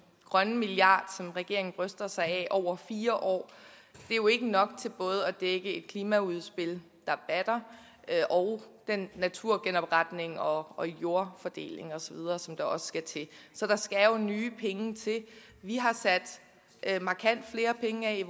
grønne milliard som regeringen bryster sig af over fire år jo ikke er nok til både at dække et klimaudspil der batter og naturgenopretning og og jordfordeling osv som der også skal til der skal jo nye penge til vi har sat markant flere penge af